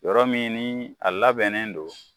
Yɔrɔ min ni a labɛnnen don